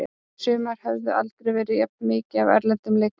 Í sumar hefur aldrei verið jafn mikið af erlendum leikmönnum.